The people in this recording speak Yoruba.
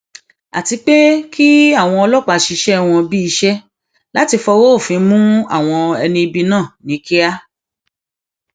àti pé kí àwọn ọlọpàá ṣiṣẹ wọn bíi iṣẹ láti fọwọ òfin mú àwọn ẹni ibi náà ní kíá